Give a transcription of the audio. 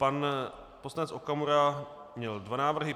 Pan poslanec Okamura měl dva návrhy.